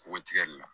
K'o tigɛli la